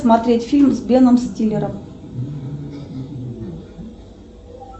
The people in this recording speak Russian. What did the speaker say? смотреть фильм с беном стиллером